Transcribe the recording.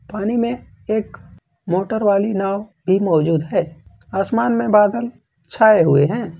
पानी में एक मोटर वाली नाव की मौजूद है आसमान में बादल छाए हुए हैं।